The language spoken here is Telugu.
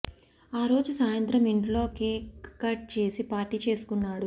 ఆ రోజు సాయంత్రం ఇంట్లో కేక్ కట్ చేసి పార్టీ చేసుకున్నాడు